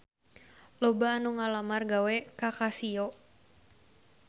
Loba anu ngalamar gawe ka Casio